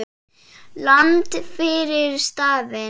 Land fyrir stafni!